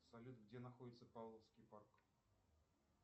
салют где находится павловский парк